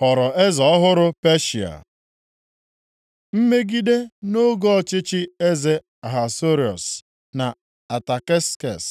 ghọrọ eze ọhụrụ Peshịa. Mmegide nʼoge ọchịchị eze Ahasuerọs na Ataksekses